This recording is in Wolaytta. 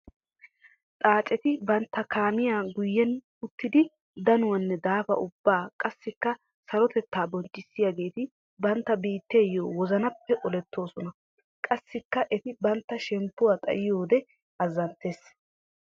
Xaacetti bantta kaamiya guyen uttiddi danuwanne daafa ubba qassikka sarotetta bonchchissiyagetti bantta biittayo wozannappe olettosonna. Qassikka etti bantta shemppuwa xayiyoode azanttes.